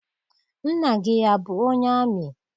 Nna gị abụ onye amị?